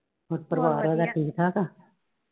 . ਹੋਰ ਪਰਿਵਾਰ ਉਹਦਾ ਠੀਕ ਠਾਕ ਆ